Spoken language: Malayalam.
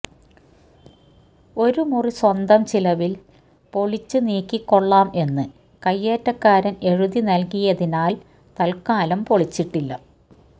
ഒരു മുറി സ്വന്തം ചിലവില് പൊളിച്ച് നീക്കികൊള്ളാം എന്ന് കയ്യേറ്റക്കാരന് എഴുതി നല്കിയാതിനാല് തല്ക്കാലം പൊളിച്ചിട്ടില്ല